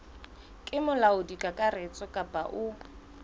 ke molaodi kakaretso kapa o